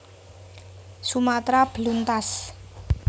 Sumatra beluntas